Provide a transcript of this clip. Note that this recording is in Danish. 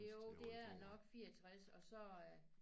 Jo det er nok 64 og så